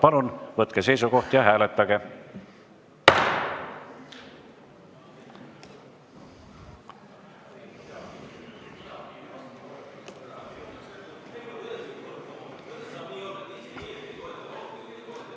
Palun võtke seisukoht ja hääletage!